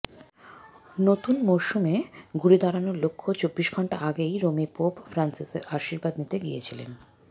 নতুন মরসুমে ঘুরে দাঁড়ানোর লক্ষ্য চব্বিশ ঘণ্টা আগেই রোমে পোপ ফ্রান্সিসের আশীর্বাদ নিতে গিয়েছিলেন